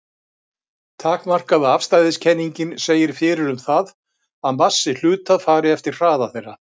Takmarkaða afstæðiskenningin segir fyrir um það að massi hluta fari eftir hraða þeirra.